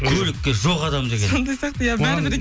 көлікке жоқ адам деген сондай сияқты иә бәрібір